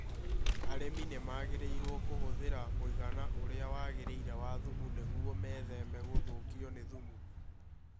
Arĩmi nĩ magĩrĩirũo kũhũthĩra mũigana ũrĩa wagĩrĩire wa thumu nĩguo metheme gũthũkio nĩ thumu.